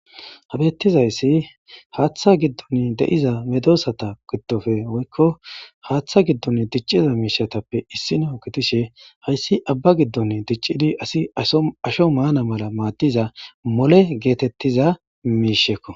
Ha betizays Hatha gidon de'za medosata gidoppe woyko Hatha gidon diciza mishatappe issino gidishe hays Abba gidon dicid ass asho mana mala madiza mole getetiza misheko .